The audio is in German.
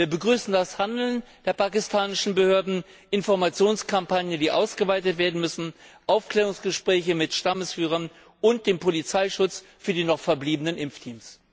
Wir begrüßen das Handeln der pakistanischen Behörden Informationskampagnen, die ausgeweitet werden müssen, Aufklärungsgespräche mit Stammesführern und den Polizeischutz für die noch verbliebenen Impfteams.